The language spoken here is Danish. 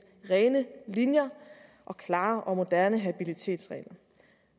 rene linjer og klare og moderne habilitetsregler